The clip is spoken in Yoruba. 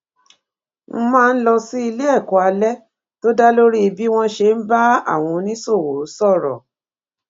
n máa lọ sí iléèkó alé tó dá lórí bí wón ṣe ń bá àwọn oníṣòwò sòrò